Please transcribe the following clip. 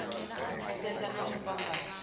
u pfesesa na u fhambanya